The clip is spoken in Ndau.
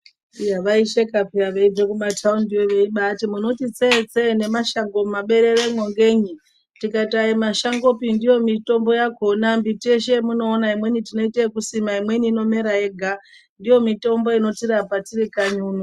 Iya aisheka peya vachibva kuma mataundiyo munoti tsetse mumashongo mumabereremo ngenyi tikati asi mashango pi ndo mitombo yakona miti yeshe yamunoona tinoite yekusima imweni inomera yega ndiyo mutombo inotirapa tirikanyi uno .